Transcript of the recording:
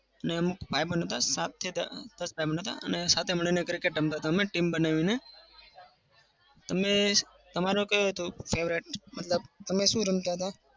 અને અમુક ભાઈબંધ હતા. સાતથી દસ સાતે મળીને cricket રમતા હતા team બનાવીને. અને તમારે કયું હતું favorite મતલબ તમે શું રમતા હતા?